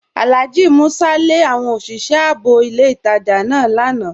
Alhaji Músà lé àwọn osìṣẹ̀ ààbò ilẹ̀ ìtajá náà lànà